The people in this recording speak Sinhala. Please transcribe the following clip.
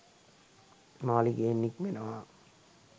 මාළිගයෙන් නික්මෙනවා